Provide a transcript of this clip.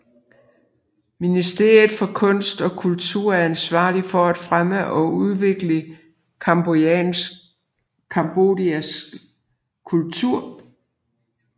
Ministeriet for kunst og kultur er ansvarlig for at fremme og udvikle cambodjansk kultur